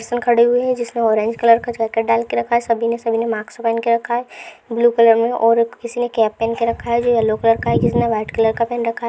इसमे खड़े हुए है जिसमें ऑरेंज कलर का जाकेट डाल के रहा है सभी ने सभी ने मास्क पहन के रखा है ब्लू कलर में और किसी ने कैप पहन के रखा है जो येल्लो कलर का है किसी ने व्हाइट कलर का पहन रखा है।